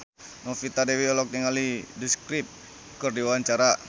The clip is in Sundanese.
Novita Dewi olohok ningali The Script keur diwawancara